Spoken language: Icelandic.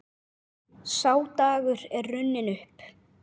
Sá dagur er runninn upp.